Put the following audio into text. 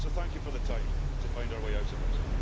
So thank you for the time to find our way out of this.